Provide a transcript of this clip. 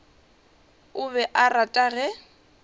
o be a rata ge